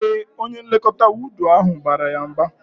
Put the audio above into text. Ee, onye nlekọta wọọdụ ahụ bara ya mba